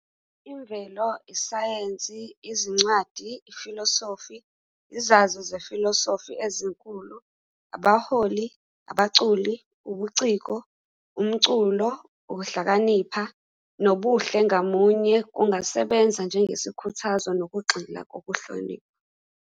Imvelo, isayensi, izincwadi, ifilosofi, izazi zefilosofi ezinkulu, abaholi, abaculi, ubuciko, umculo, ukuhlakanipha, nobuhle ngamunye kungasebenza njengesikhuthazo nokugxila kokuhlonipha.